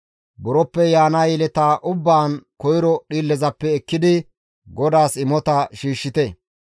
Buroppe yaana yeleta ubbaan koyro dhiillezappe ekkidi GODAAS imota shiishshite.